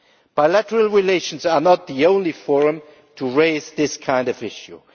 Bilateral relations are not the only forum for raising this kind of issue.